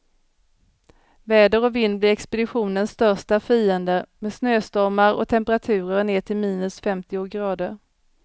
Väder och vind blir expeditionens största fiender, med snöstormar och temperaturer ner till minus femtio grader.